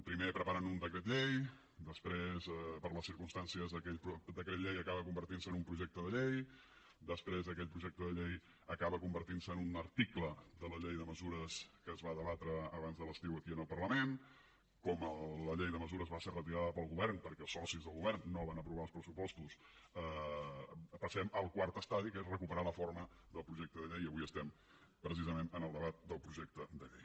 primer preparen un decret llei després per les circumstàncies aquell decret llei acaba convertint se en un projecte de llei després aquell projecte de llei acaba convertint se en un article de la llei de mesures que es va debatre abans de l’estiu aquí al parlament com la llei de mesures va ser retirada pel govern perquè els socis del govern no van aprovar els pressupostos passem al quart estadi que és recuperar la forma del projecte de llei i avui estem precisament en el debat del projecte de llei